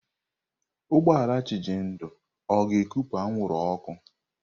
Ụgbọ ala Chijindu ọ ga-ekupụ anwụrụ ọkụ?